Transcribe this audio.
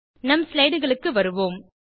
நம் ஸ்லைடுகளுக்கு வருவோம்